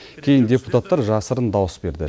кейін депутаттар жасырын дауыс берді